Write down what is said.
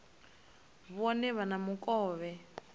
vhone vha vhe na mukovhe